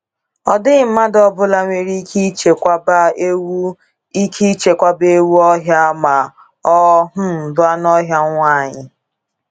Ọ dịghị mmadụ ọ bụla nwere ike ichekwaba ewu ike ichekwaba ewu ọhịa ma ọ um bụ anụ ọhịa nwanyị.